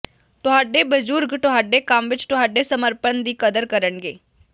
ਤੁਹਾਡੇ ਬਜ਼ੁਰਗ ਤੁਹਾਡੇ ਕੰਮ ਵਿਚ ਤੁਹਾਡੇ ਸਮਰਪਣ ਦੀ ਕਦਰ ਕਰਨਗੇ